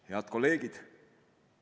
Head kolleegid!